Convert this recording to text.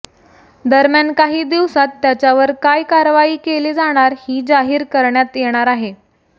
दरम्यान काही दिवसांत त्याच्यावर काय कारवाई केली जाणार ही जाहीर करण्यात येणार आहे